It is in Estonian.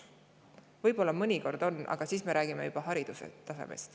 Võib-olla mõnikord on, aga siis me räägime juba haridustasemest.